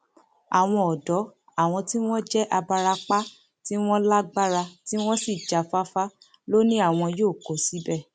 àwọn ọdọ àwọn tí wọn jẹ àbáràápàá tí wọn lágbára tí wọn sì jáfáfá lọ ni àwọn yóò kó síbẹ